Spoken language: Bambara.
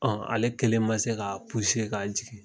Ɔn ale kelen ma se ka ka jigin.